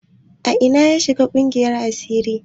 A ina ya shiga ƙungiyar asiri?